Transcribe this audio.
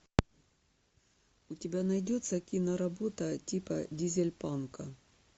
у тебя найдется киноработа типа дизельпанка